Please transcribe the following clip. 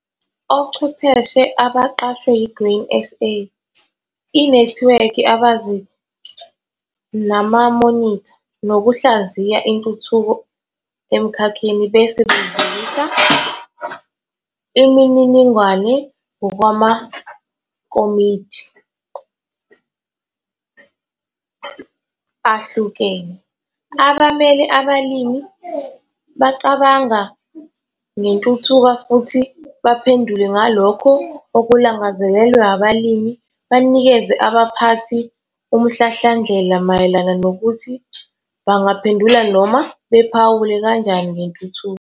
Ochwepheshe abaqashwe yi-Grain SA, inethiwekhi ebanzi namamonitha nokuhlaziya intuthuko emkhakheni bese bedlulisa imininingwane ngokwamakomidi ahlukene. Abamele abalimi bacabanga ngentuthuka futhi baphendule ngalokho okulangazelelwe abalimi banikeze abaphathi umhlahlandlela mayelana nokuthi bangaphendula noma bephawule kanjani ngentuthuko.